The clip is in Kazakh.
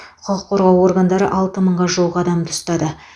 құқық қорғау органдары алты мыңға жуық адамды ұстады